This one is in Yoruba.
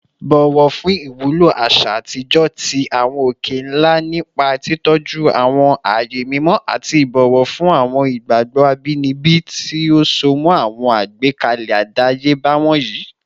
Bọwọ fun iwulo aṣa atijọ ti awọn oke-nla nipa titọju awọn aaye mimọ ati ibọwọ fun awọn igbagbọ abinibi ti o so mọ awọn agbekalẹ adayeba wọnyi